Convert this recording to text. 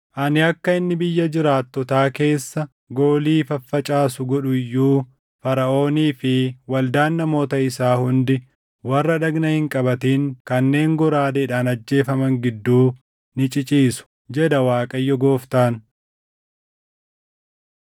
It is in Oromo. Ani akka inni biyya jiraattotaa keessa goolii faffacaasu godhu iyyuu, Faraʼoonii fi waldaan namoota isaa hundi warra dhagna hin qabatin kanneen goraadeedhaan ajjeefaman gidduu ni ciciisu, jedha Waaqayyo Gooftaan.”